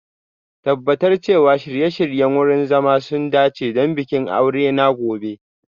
Tabbatar cewa shirye-shiryen wurin zama sun dace don bikin aure na gobe